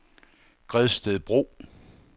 Gredstedbro